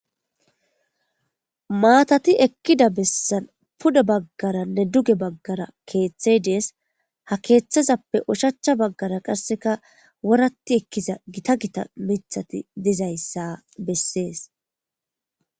Maathathi ekkida bessan pude baggaranne duge baggara keeththey de7ees;ha keeththazappe ushachcha baggaara qassika woraththi ekkiza githa githa miththatho dizayssa bessees.